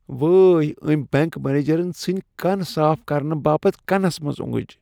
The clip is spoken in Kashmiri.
وٲے ! امۍ بینٛک منیجرن ژھٕنۍ كن صاف كرنہٕ باپت کنس منز اونگٕج ۔